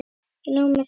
Ekki nóg með það.